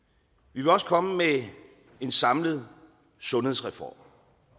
vi vil også komme med en samlet sundhedsreform